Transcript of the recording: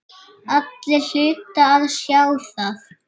Allir hlutu að sjá það.